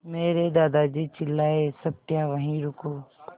मेरे दादाजी चिल्लाए सत्या वहीं रुको